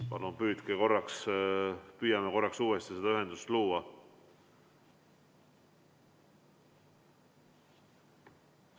Palun püüame korraks uuesti ühendust luua!